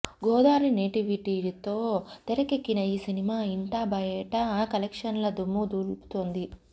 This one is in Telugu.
గోదారి నేటివిటీతో తెరకెక్కిన ఈ సినిమా ఇంటా బయటా కలెక్షన్ల దుమ్ము దులుపుతోంది